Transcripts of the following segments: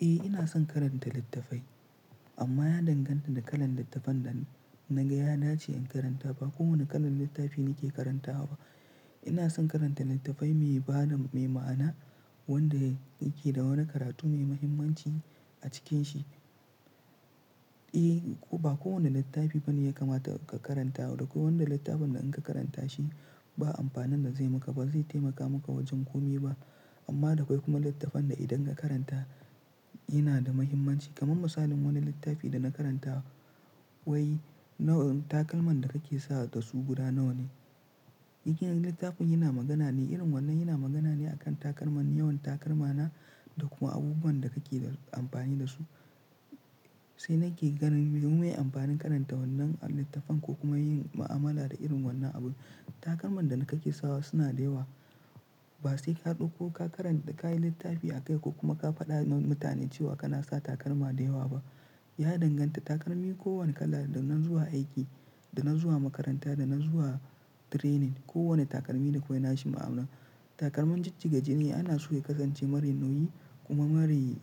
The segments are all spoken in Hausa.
Eh ina son karanta littafai, amma ya danganta ga kalan littafan da naga ya dace in karanta. Ba ko wanne kalan littafi nake karantawa ba, ina son karanta littafi mai ma'ana wanda yake da wani karatu mai muhimmanci a cikin shi eh, ba kowane littafi bane ya kamata ka karanta. Da kwai wanda littafin da in ka karanta shi ba amfanin da zai maka, ba zai taimaka maka wajen komi ba. Amma da kwai kuma littafin da idan ka karanta yana da muhimmanci. Kamar misalin wani littafi dana karanta wai takalman da kake sa, dasu guda nawane? Hi littafin yana magana ne irin wannan, yana magana ne akan takalman, yawan takalma na da kuma abubuwan da kake amfani da su. Sai nake ganin me amfanin karanta wannan littafan ko kuma yin mu'amala da irin wannan abu. Takalman da na kake sawa suna da yawa. Ba sai ka dauko ka karan---kayi littafi a kai ko kuma ka fada ma mutane kana sa takalma da yawa ba, ya danganta takalmi kowane kala da na zuwa aiki, da na zuwa makaranta, da na zuwa training, kowane takalmi da kwai nashi ma'ana. Takalman jijjiga jini ana so ya kasance mara nauyi kuma mare,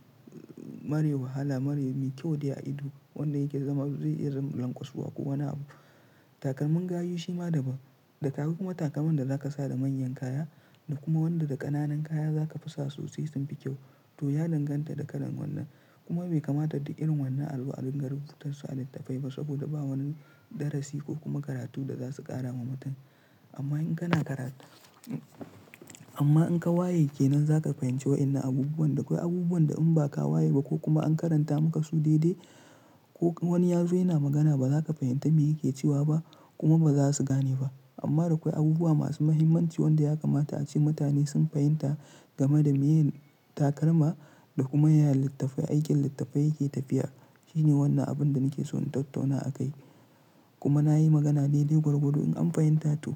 mara wahala, mare mai kyau dai a ido wanda yake zama zai iya zama lanƙwasuwa ko wane abu. Takalman gayu shi ma daban. Da ka hau kuma takalman da za ka sa da manyan kaya da kuma wanda da ƙananan kaya za ka fi sa su sai sun fi kyau. To ya danganta da kalan wannan. Kuma bai kamata duk irin wannan a zo a ringa rubutasu a littafai ba saboda ba wani darasi ko kuma karatu da za su ƙara ma mutum. Amma in kana karatu, amma in ka waye kenan za ka fahimci wainnan abubuwan. Da kwai abubuwan da in ba ka waye ba ko kuma an karanta maka su daidai ko wani ya zo yana magana ba za ka fahimta me yake cewa ba kuma ba za su gane ba. Amma da kwai abubuwa masu muhimmanci wanda ya kamata ace mutane sun fahimta game da me ye takalma da kuma ya littafai, aikin littafai yake tafiya. Shine wannan abin da nake so in tattauna a kai. Kuma na yi magana daidai gwargwadon in an fahimta to.